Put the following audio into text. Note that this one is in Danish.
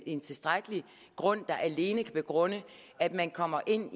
en tilstrækkelig grund at grund at man kommer ind